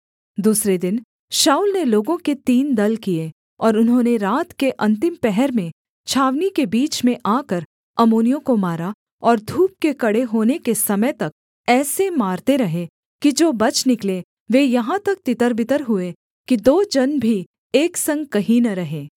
दूसरे दिन शाऊल ने लोगों के तीन दल किए और उन्होंने रात के अन्तिम पहर में छावनी के बीच में आकर अम्मोनियों को मारा और धूप के कड़े होने के समय तक ऐसे मारते रहे कि जो बच निकले वे यहाँ तक तितरबितर हुए कि दो जन भी एक संग कहीं न रहे